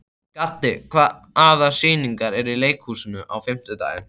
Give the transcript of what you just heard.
Gaddi, hvaða sýningar eru í leikhúsinu á fimmtudaginn?